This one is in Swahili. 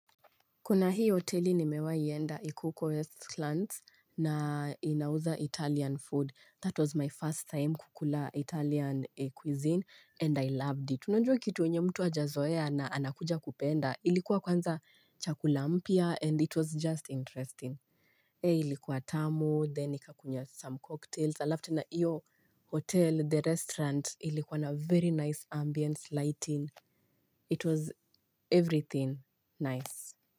Kuna hii hoteli nimewai enda iko uko Westlands na inauza Italian food. That was my first time kukula Italian cuisine and I loved it. Unajua kitu yenye mtu hajazoea na anakuja kupenda. Ilikuwa kwanza chakula mpya and it was just interesting. Hei ilikuwa tamu, then nikakunywa some cocktails. Alafu tena hiyo hotel, the restaurant, ilikuwa na very nice ambience lighting. It was everything nice.